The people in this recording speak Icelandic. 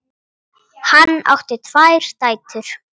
Hann á tvær dætur.